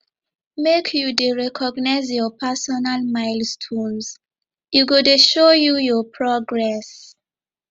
make you dey recognize your personal milestones e go dey show you your progress